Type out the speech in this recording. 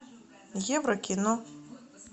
евро кино